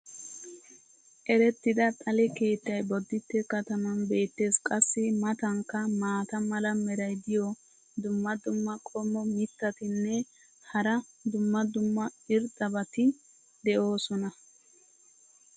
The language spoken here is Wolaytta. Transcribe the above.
Erettida xale keettay boditte kataman beetees. qassi a matankka maata mala meray diyo dumma dumma qommo mitattinne hara dumma dumma irxxabati de'oosona.